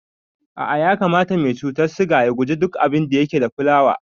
A'a ya kamata mai cutar siga ya gujewa duk abinda yake da fulawa